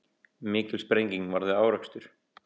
Mikil sprenging varð við árekstur